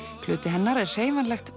hluti hennar er hreyfanlegt